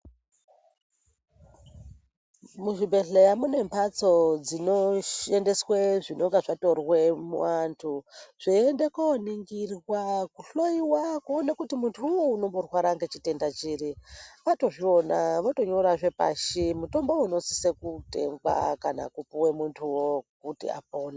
Muzvibhedhlera mune mbatso dzinoendeswa zvinenge zvatorwa muvantu zveienda koningirwa kuhloiwa kuona kuti muntu unowu unomborwara nechitenda chiri Watozviona wotosiya pashi mutombo unosisa kutengwa kana kupuwa muntu kuti apone.